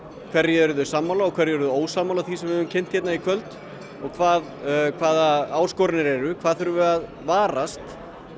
hverju eru þau sammála og hverju eru þau ósammála af því sem við hér í kvöld hvaða hvaða áskoranir eru hvað þurfum við að varast